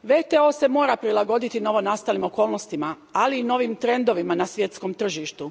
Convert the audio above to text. WTO se mora prilagoditi novonastalim okolnostima, ali i novim trendovima na svjetskom tržištu.